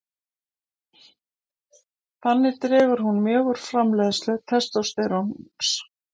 Þannig dregur hún mjög úr framleiðslu testósteróns.